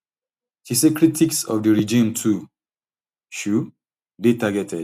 she say critics of di regime too um dey targeted